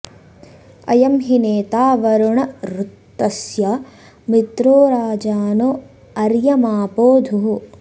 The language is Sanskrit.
अ॒यं हि ने॒ता वरु॑ण ऋ॒तस्य॑ मि॒त्रो राजा॑नो अर्य॒मापो॒ धुः